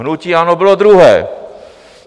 Hnutí ANO bylo druhé.